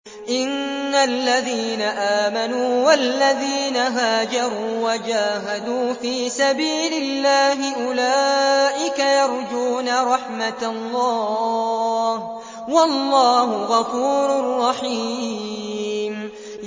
إِنَّ الَّذِينَ آمَنُوا وَالَّذِينَ هَاجَرُوا وَجَاهَدُوا فِي سَبِيلِ اللَّهِ أُولَٰئِكَ يَرْجُونَ رَحْمَتَ اللَّهِ ۚ وَاللَّهُ غَفُورٌ رَّحِيمٌ